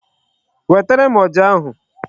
Wetere m ọjà ahụ.